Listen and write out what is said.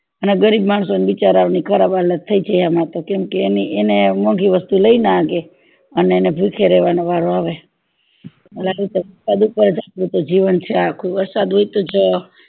ને ગરીબ માણસો ને બિચારા ઓ ને ખરાબ હાલત થય જાય આમાં તો કેમ કે એને મોંઘી વસ્તુ લે ના હંગે અને એને ભીખ્યા રેવાનો વારો આવે આ રીતે વરસાદ ઉપરજ જીવન છે આખું વરસાદ હોય તોજ